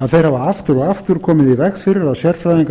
að þeir hafa aftur og aftur komið í veg fyrir að sérfræðingar